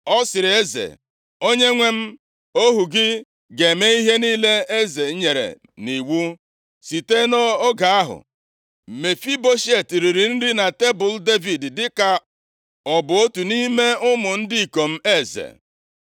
Ọ sịrị eze, “Onyenwe m, ohu gị ga-eme ihe niile eze nyere m nʼiwu.” Site nʼoge ahụ, Mefiboshet riri nri na tebul + 9:11 Maọbụ, okpokoro iri ihe Devid dịka ọ bụ otu nʼime ụmụ ndị ikom eze.